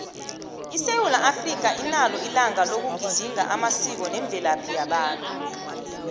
isewula africa inalo ilanga loku gedinga amasiko nemvelaphi yabantu